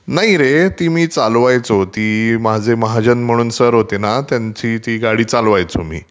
नाही रे ती मी चालवायचो. माझे महाजन म्हणून सर होते ना त्यांची ती गाडी चालवायचो मी.